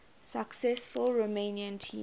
successful romanian team